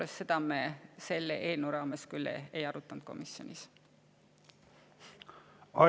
Aga seda me selle eelnõu raames küll komisjonis ei arutanud.